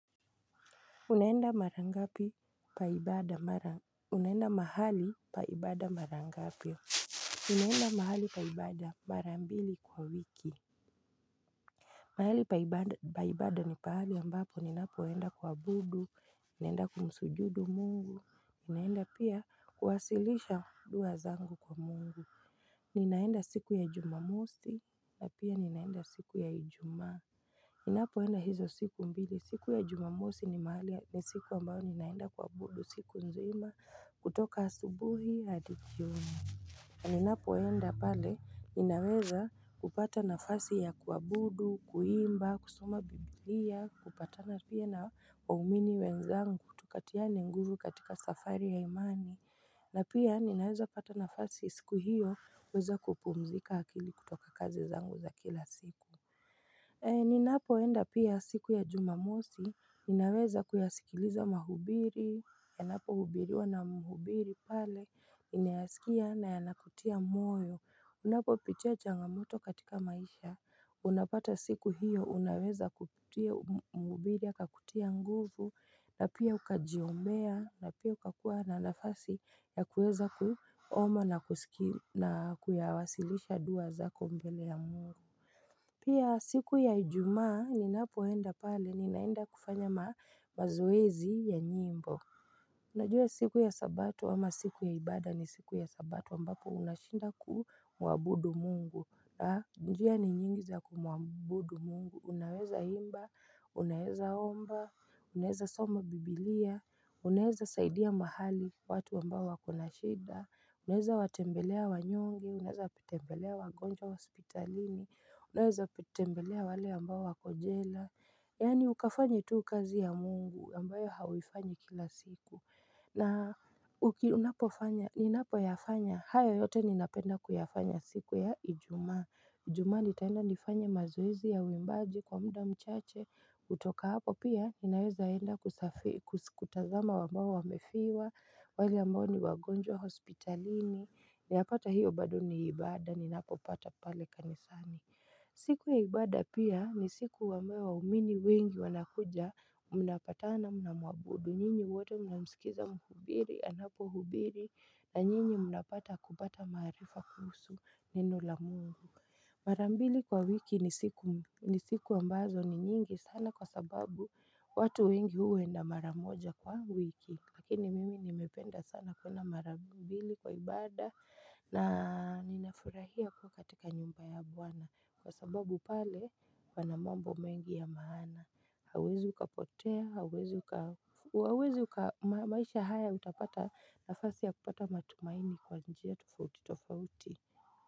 Unaenda mahali pa ibada mara ngapi? Ninaenda mahali pa ibada mara mbili kwa wiki mahali pa ibada ni pahali ambapo ninapoenda kuabudu, naenda kumsujudu mungu Ninaenda pia kuwasilisha dua zangu kwa mungu Ninaenda siku ya jumamosi na pia Ninaenda siku ya ijumaa Ninapoenda hizo siku mbili, siku ya jumamosi ni mahali ni siku ambayo ninaenda kuabudu, siku nzima kutoka asubuhi hadi jioni. Ninapoenda pale, ninaweza kupata nafasi ya kuabudu, kuimba, kusoma biblia, kupatana pia na waumini wenzangu, tukatiane nguvu katika safari ya imani. Na pia ninaweza pata nafasi siku hiyo, kuweza kupumzika akili kutoka kazi zangu za kila siku. Niaapoenda pia siku ya jumamosi, ninaweza kuyasikiliza mahubiri, yanapohubiriwa na mhubiri pale, ninayasikia na yanakutia moyo Unapopitia changamoto katika maisha, unapata siku hiyo, unaweza kupitia mhubiri akakutia nguvu, na pia ukajiombea, na pia ukakuwa na nafasi ya kueza kuomba na kusikia na kuyawasilisha dua zako mbele ya mungu Pia siku ya ijumaa ninapoenda pale ninaenda kufanya mazoezi ya nyimbo Unajua siku ya sabato ama siku ya ibada ni siku ya sabato ambapo unashinda kumwabudu mungu njia ni nyingi za kumwabudu mungu Unaweza imba, unaweza omba, unaweza soma biblia, unaweza saidia mahali watu ambao wako na shida Unaweza watembelea wanyonge unaweza watembelea wagonjwa hospitalini, unaweza kutembelea wale ambao wako jela Yaani ukafanye tu kazi ya mungu ambayo hauifanyi kila siku na unapofanya, ninapoyafanya, hayo yote ninapenda kuyafanya siku ya ijumaa Ijumaa nitaenda nifanye mazoezi ya uimbaji kwa mda mchache kutoka hapo pia ninaweza enda kutazama ambao wamefiwa wale ambao ni wagonjwa hospitalini yapata hiyo bado ni ibada ninapopata pale kanisani siku ya ibada pia ni siku ambayo waumini wengi wanakuja Mnapatana mnamwabudu Nyinyi wote mnamsikiza mhubiri anapohubiri na nyinyi mnapata kupata maarifa kuhusu neno la mungu Mara mbili kwa wiki ni siku ambazo ni nyingi sana kwa sababu watu wengi huenda mara moja kwa wiki Lakini mimi nimependa sana kuenda mara mbili kwa ibada na ninafurahia kuwa katika nyumba ya bwana Kwa sababu pale pana mambo mengi ya maana Hauwezi ukapotea, hauwezi maisha haya utapata nafasi ya kupata matumaini kwa njia tofauti tofauti.